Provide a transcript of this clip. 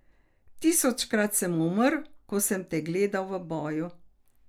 Tisočkrat sem umrl, ko sem te gledal v boju.